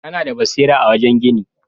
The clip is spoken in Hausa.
Kana da basira a wajen gini.